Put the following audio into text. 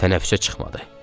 Tənəffüsə çıxmadı.